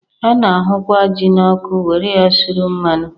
A na-ahụkwa jị n'ọkụ were ya suru mmadụ.